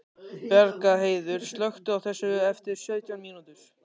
Bjargheiður, slökktu á þessu eftir sautján mínútur.